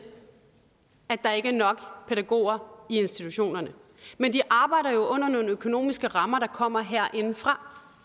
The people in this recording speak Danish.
at der ikke er nok pædagoger i institutionerne men de arbejder jo under nogle økonomiske rammer der kommer herinde fra